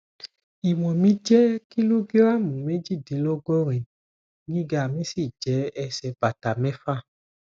ìwọn mi jẹ kìlógíráàmù méjìdínlọgọrin gíga mi sì jẹ ẹsẹ bàtà mẹfà